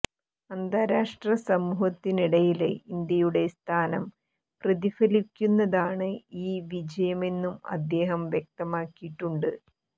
അന്താരാഷ്ട്ര സമൂഹത്തിനിടയില് ഇന്ത്യയുടെ സ്ഥാനം പ്രതിഫലിപ്പിക്കുന്നതാണ് ഈ വിജയമെന്നും അദ്ദേഹം വ്യക്തമാക്കിയിട്ടുണ്ട്